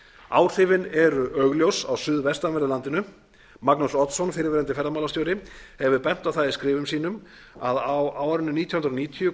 áhrifin eru augljós á suðvestanverðu landinu magnús oddsson fyrrverandi ferðamálastjóri hefur bent á það í skrifum sínum að á árinu nítján hundruð níutíu